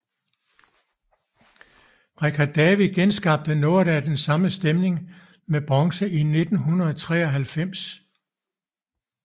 Richard David genskabte noget af den samme stemning med bronze i 1993